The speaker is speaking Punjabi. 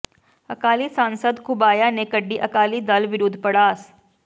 ਅਕਾਲੀ ਸਾਂਸਦ ਘੁਬਾਇਆ ਨੇ ਕੱਢੀ ਅਕਾਲੀ ਦਲ ਵਿਰੁੱਧ ਭੜਾਸ